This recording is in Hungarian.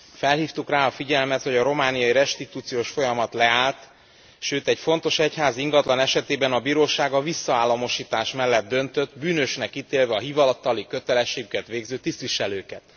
Felhívtuk rá a figyelmet, hogy a romániai restituciós folyamat leállt, sőt, egy fontos egyházi ingatlan esetében a bíróság a visszaállamosítás mellett döntött, bűnösnek ítélve a hivatali kötelességüket végző tisztviselőket.